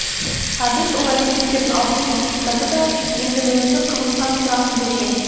әбіш ол әрекеттерін алғыспен құптады да енді бір өзі қызыққан сұрағын берді